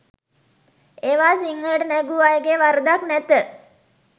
ඒවා සිංහලට නැගූ අයගේ වරදක් නැත.